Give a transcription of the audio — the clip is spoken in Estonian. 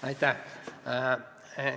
Aitäh!